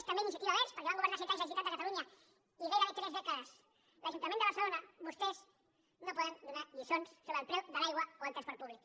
també iniciativa verds perquè van governar set anys la generalitat de catalunya i gairebé tres dècades l’ajuntament de barcelona vostès no poden donar lliçons sobre el preu de l’aigua o el transport públic